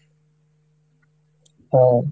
ও,